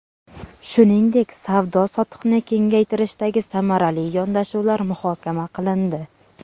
Shuningdek, savdo-sotiqni kengaytirishdagi samarali yondashuvlar muhokama qilindi.